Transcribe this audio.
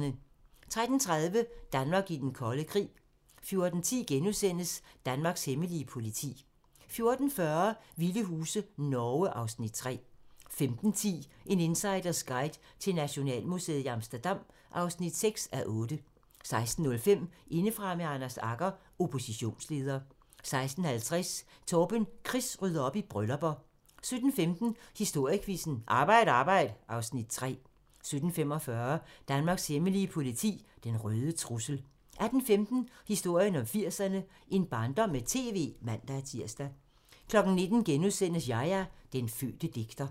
13:30: Danmark i den kolde krig 14:10: Danmarks hemmelige politi * 14:40: Vilde huse - Norge (Afs. 3) 15:10: En insiders guide til Nationalmuseet i Amsterdam (6:8) 16:05: Indefra med Anders Agger - Oppositionsleder 16:50: Torben Chris rydder op i bryllupper 17:15: Historiequizzen: Arbejd arbejd (Afs. 3) 17:45: Danmarks hemmelige politi: Den røde trussel 18:15: Historien om 80'erne: En barndom med TV (man-tir) 19:00: Yahya - den fødte digter *